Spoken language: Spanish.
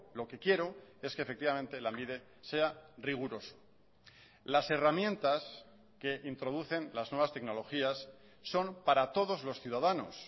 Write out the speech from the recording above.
lo que quiero es que efectivamente lanbide sea riguroso las herramientas que introducen las nuevas tecnologías son para todos los ciudadanos